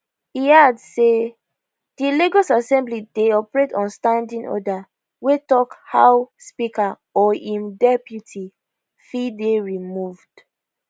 e add say di lagos assembly dey operate on standing order wey tok how speaker or im deputy fit dey removed